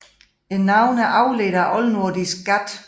Navnet er afledt af oldnordisk gat